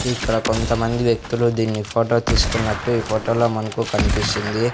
ఇక్కడ కొంతమంది వ్యక్తులు దీన్ని ఫోటో తీసుకున్నట్టు ఈ ఫోటో లో మనకు కనిపిస్తుంది.